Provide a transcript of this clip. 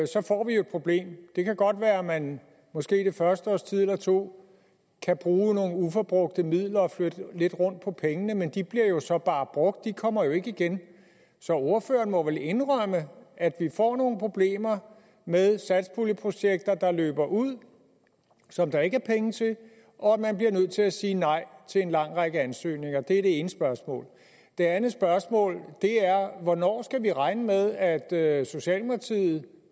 så får vi et problem det kan godt være at man måske det første års tid eller to kan bruge nogle uforbrugte midler og flytte lidt rundt på pengene men de bliver jo så bare brugt de kommer jo ikke igen så ordføreren må vel indrømme at vi får nogle problemer med satspuljeprojekter der løber ud som der ikke er penge til og at man bliver nødt til at sige nej til en lang række ansøgninger det er det ene spørgsmål det andet spørgsmål er hvornår skal vi regne med at at socialdemokratiet